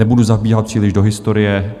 Nebudu zabíhat příliš do historie.